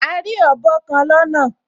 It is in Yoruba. A rí ọ̀bọ kan lọ́nà